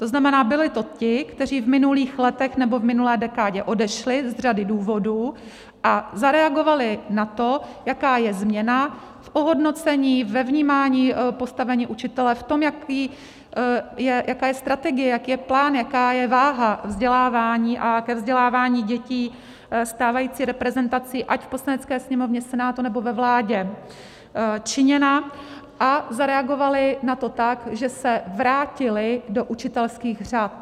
To znamená, byli to ti, kteří v minulých letech, nebo v minulé dekádě, odešli z řady důvodů a zareagovali na to, jaká je změna v ohodnocení, ve vnímání postavení učitele, v tom, jaká je strategie, jaký je plán, jaká je váha vzdělávání a ke vzdělávání dětí stávající reprezentací ať v Poslanecké sněmovně, Senátu nebo ve vládě činěna, a zareagovali na to tak, že se vrátili do učitelských řad.